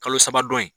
Kalo saba dɔn in